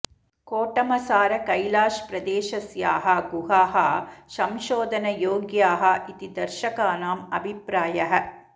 कोटमसार कैलाष् प्रदेशस्याः गुहाः संशोधनयोग्याः इति दर्शकानाम् अभिप्रायः